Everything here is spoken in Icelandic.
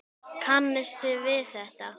Kannist þið við þetta?